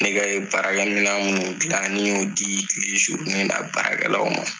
Ne ka ye baarakɛminɔn minnu dilan ne y'o di tile na baarakɛlaw ma